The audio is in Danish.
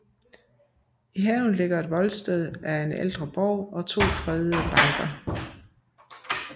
I haven ligger et voldsted af en ældre borg og to fredede banker